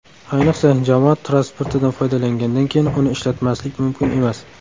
Ayniqsa, jamoat transportidan foydalangandan keyin uni ishlatmaslik mumkin emas.